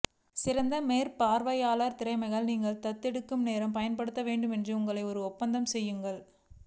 சிறந்த மேற்பார்வையாளர் திறமைகளை நீங்கள் தத்தெடுக்க நேரம் பயன்படுத்த வேண்டும் என்று உங்களை ஒரு ஒப்பந்தம் செய்யுங்கள்